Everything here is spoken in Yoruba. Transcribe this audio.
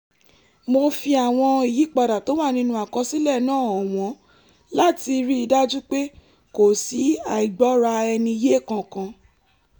mo fi àwọn ìyípadà tó wà nínú àkọsílẹ̀ náà hàn wọ́n láti rí i dájú pé kò sí àìgbọ́ra-ẹni-yé kankan